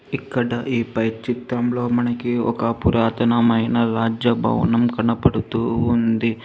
ఇక్కడ ఈ బైక్ చిత్తంలో మనకి ఒక పురాతనమైన రాజ్య భవనం కనపడుతూ ఉంది.